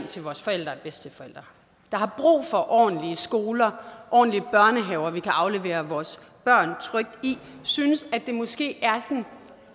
til vores forældre og bedsteforældre der har brug for ordentlige skoler ordentlige børnehaver vi kan aflevere vores børn trygt i synes at det måske er sådan